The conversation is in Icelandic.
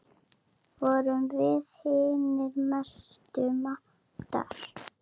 Vorum við hinir mestu mátar.